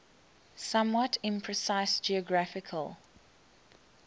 somewhat imprecise geographical